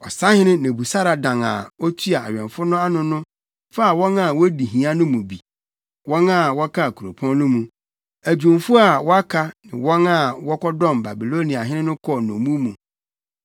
Ɔsahene Nebusaradan a na otua awɛmfo no ano no faa wɔn a wodi hia no mu bi, wɔn a wɔkaa kuropɔn no mu, adwumfo a wɔaka ne wɔn a wɔkɔdɔm Babiloniahene no kɔɔ nnommum mu.